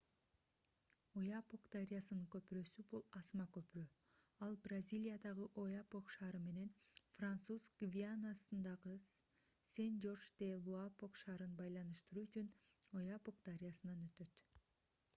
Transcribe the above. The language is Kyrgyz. ояпок дарыясынын көпүрөсү бул асма көпүрө ал бразилиядагы ояпок шаары менен француз гвианасындагы сен-жорж-де-луапок шаарын байланыштыруу үчүн ояпок дарыясынан өтөт